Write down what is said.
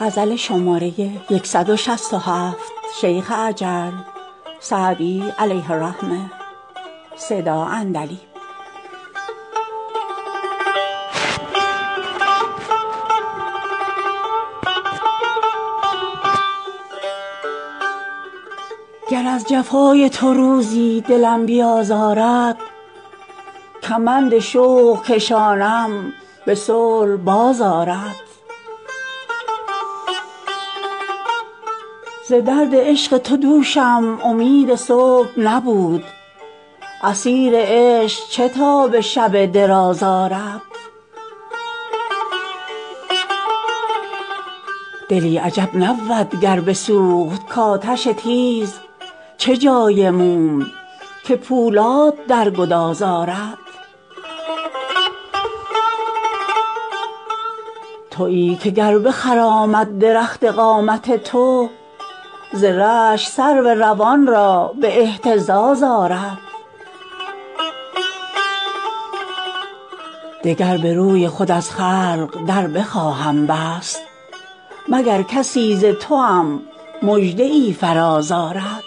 گر از جفای تو روزی دلم بیازارد کمند شوق کشانم به صلح باز آرد ز درد عشق تو دوشم امید صبح نبود اسیر عشق چه تاب شب دراز آرد دلی عجب نبود گر بسوخت کآتش تیز چه جای موم که پولاد در گداز آرد تویی که گر بخرامد درخت قامت تو ز رشک سرو روان را به اهتزاز آرد دگر به روی خود از خلق در بخواهم بست مگر کسی ز توام مژده ای فراز آرد